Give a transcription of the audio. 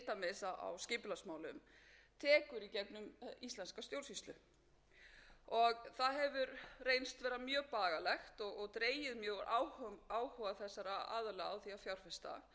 dæmis á skipulagsmálum tekur í gegnum íslenska stjórnsýslu það hefur reynst vera mjög bagalegt og dregið mjög úr áhuga þessara aðila á því að fjárfesta hversu erfitt hefur verið að fá svör um þessi skýru tímamörk dæmi um þetta er